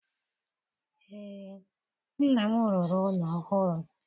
Ee, nna m rụrụ ụlọ ọhụrụ.